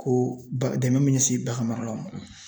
Ko dɛmɛ min ɲɛsin baganmaralaw ma